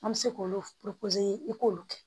An bɛ se k'olu i k'olu kɛ